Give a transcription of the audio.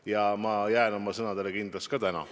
Ja ma jään oma sõnadele kindlaks ka täna.